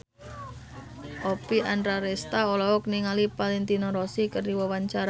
Oppie Andaresta olohok ningali Valentino Rossi keur diwawancara